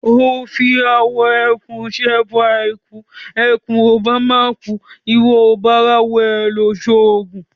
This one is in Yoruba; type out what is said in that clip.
O fi awọ ẹkùn ṣẹbọ àìkú; ẹkùn ìbá má kùú, ìwọ ò bá ráwọ ẹ̀ ṣoògùn?